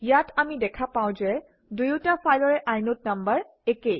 ইয়াত আমি দেখা পাওঁ যে দুয়োটা ফাইলৰে ইনদে নাম্বাৰ একেই